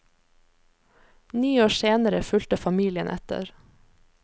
Ni år senere fulgte familien etter.